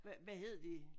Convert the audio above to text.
Hvad hed de?